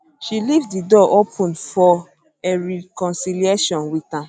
she leave di door open for a reconciliation with am